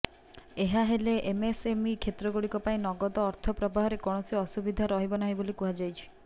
ଏହାହେଲେ MSME କ୍ଷେତ୍ରଗୁଡ଼ିକ ପାଇଁ ନଗଦ ଅର୍ଥ ପ୍ରବାହରେ କୌଣସି ଅସୁବିଧା ରହିବ ନାହିଁ ବୋଲି କୁହାଯାଇଛି